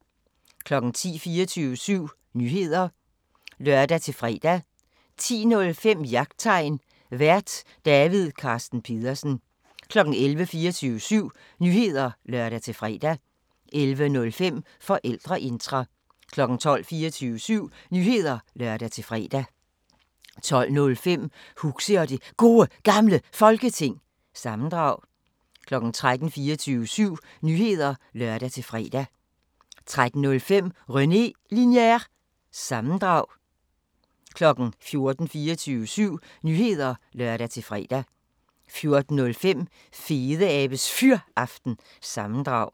10:00: 24syv Nyheder (lør-fre) 10:05: Jagttegn Vært: David Carsten Pedersen 11:00: 24syv Nyheder (lør-fre) 11:05: Forældreintra 12:00: 24syv Nyheder (lør-fre) 12:05: Huxi og det Gode Gamle Folketing – sammendrag 13:00: 24syv Nyheder (lør-fre) 13:05: René Linjer- sammendrag 14:00: 24syv Nyheder (lør-fre) 14:05: Fedeabes Fyraften – sammendrag